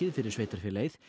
fyrir sveitarfélagið